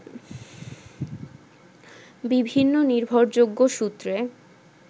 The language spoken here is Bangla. বিভিন্ন নির্ভরযোগ্য সূত্রে